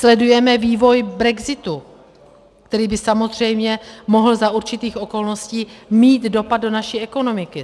Sledujeme vývoj brexitu, který by samozřejmě mohl za určitých okolností mít dopad do naší ekonomiky.